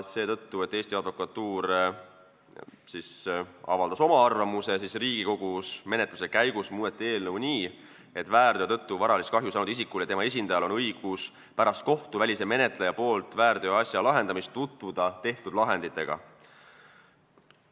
Eesti Advokatuur avaldas oma arvamuse ning seetõttu muudeti Riigikogus menetluse käigus eelnõu nii, et väärteo tõttu varalist kahju saanud isikul ja tema esindajal on õigus pärast seda, kui kohtuväline menetleja on väärteoasja lahendanud, tutvuda tehtud lahenditega.